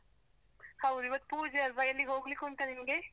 ಹೌದು, ಇವತ್ತು ಪೂಜೆ ಅಲ್ವಾ ಎಲ್ಲಿಗೋಗ್ಲಿಕುಂಟ ನಿನ್ಗೆ?